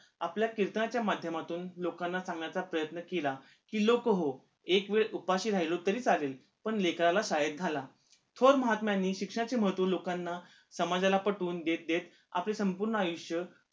आपल्या कीर्तनाच्या माध्यमातून लोकांना सांगण्याचा प्रयन्त केला, कि लोकहो एक वेळ उपाशी राहिलो तरी चालेल पण लेकराला शाळेत घाला थोर महात्म्यांनी शिक्षणाचे महत्व लोकांना, समाजाला पटवून देत देत आपले संपूर्ण आयुष्य